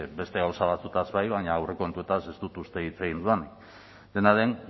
beste gauza batzuez bai baina aurrekontuez ez dut uste dut hitz egin dudanik dena den